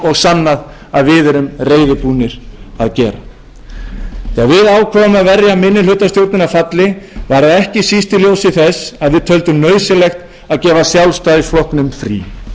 og sannað að við erum reiðubúnir að gera þegar við ákváðum að verja minnihlutastjórnina falli var það ekki síst í ljósi þess að við töldum nauðsynlegt að gefa sjálfstæðisflokknum frí þjóðin þarf nauðsynlega